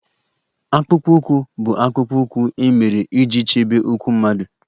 Akpụkpọ ụkwụ bụ akpụkpọ ụkwụ e mere iji chebe ụkwụ mmadụ